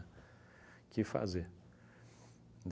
Que fazer.